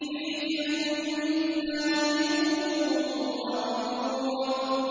فِي جَنَّاتٍ وَعُيُونٍ